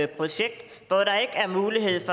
projekt hvor der ikke er mulighed